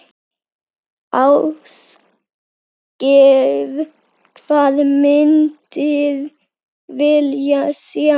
Ásgeir: Hvað myndir vilja sjá?